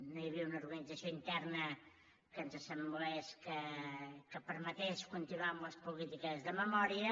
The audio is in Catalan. no hi havia una organització interna que ens semblés que permetés continuar amb les polítiques de memòria